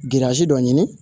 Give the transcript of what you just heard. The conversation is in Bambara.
dɔ ɲini